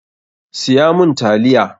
Siya mun taliya!